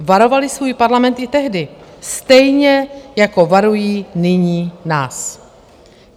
Varovaly svůj Parlament i tehdy, stejně, jako varují nyní nás.